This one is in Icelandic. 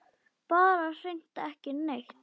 Bara hreint ekki neitt.